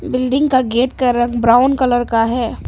Building का gate का रंग ब्राउन कलर का है।